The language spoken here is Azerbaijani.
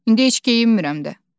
İndi heç geyinmirəm də.